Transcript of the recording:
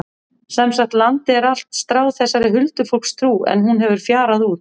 Sem sagt, landið er allt stráð þessari huldufólkstrú en hún hefur fjarað út.